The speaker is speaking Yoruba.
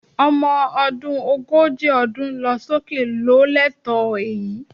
Ọmọ ọdún ogójì ọdún lọ sókè ló lẹ́tọ̀ọ́ èyí